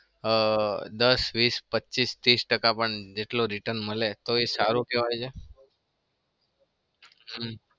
અ દસ, વીસ, પચીસ, ત્રીસ ટકા પણ જેટલું return મળે તો એ સારું કેવાય છે. હમ હમ